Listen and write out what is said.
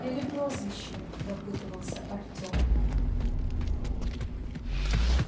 или прозвище допытывался артём